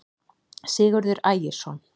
sigurður ægisson